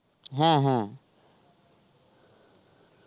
হ্যাঁ হ্যাঁ.